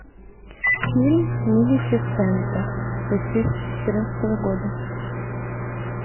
фильм малефисента две тысячи четырнадцатого года